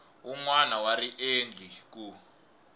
wun wana wa riendli ku